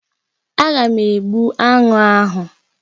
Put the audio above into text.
Aga m egbu aṅụ ahụ